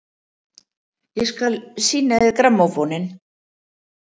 Ég skal sýna þér grammófóninn!